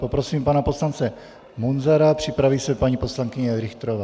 Poprosím pana poslance Munzara, připraví se paní poslankyně Richterová.